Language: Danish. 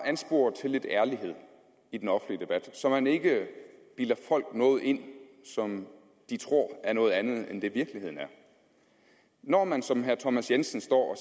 anspore til lidt ærlighed i den offentlige debat så man ikke bilder folk noget ind som de tror er noget andet end det i virkeligheden er når man som herre thomas jensen står